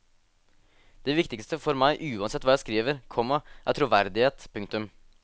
Det viktigste for meg uansett hva jeg skriver, komma er troverdighet. punktum